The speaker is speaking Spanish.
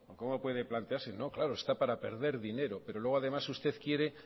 cómo puede planteárselo no claro está para perder dinero pero luego usted además quiere